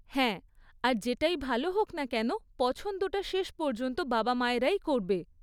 হ্যাঁ, আর যেটাই ভালো হোক না কেন পছন্দটা শেষ পর্যন্ত বাবা মায়েরাই করবে।